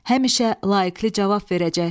Həmişə layiqlli cavab verəcək.